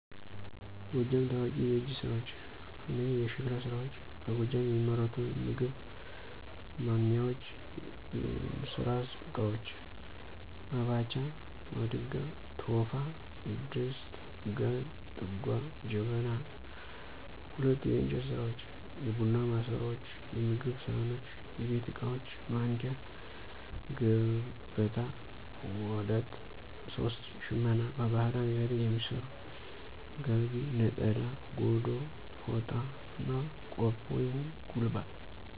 የጎጃም ታዋቂ የእጅ ስራዎች፦ 1. **የሸክላ ስራዎች**፦ በጎጃም የሚመረቱ የምግብ ማንሚያዎች፣ የእንስራ እቃዎች (መባቻ)፣ማድጋ፣ ቶፋ፣ ድስት፣ ጋን፣ ጥጓ፣ ጀበና 2. **የእንጨት ስራዎች**፦ የቡና ማሰሮዎች፣ የምግብ ሳህኖች፣ የቤት ዕቃዎች ማንኪያ፣ ገበታ፣ ዋዳት 3. **ሽመና**፦ በባህላዊ ዘዴ የሚሠሩ ጋቢ፣ ነጠላ፣ ጎዶ፣ ፎጣና፣ ቆብ/ጉልባ